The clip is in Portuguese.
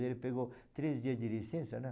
Ele pegou três dias de licença, né?